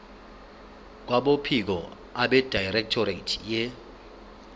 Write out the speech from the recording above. kwabophiko abedirectorate ye